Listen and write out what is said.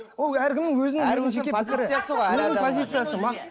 ол әркімнің өзінің жеке пікірі өзінің позициясы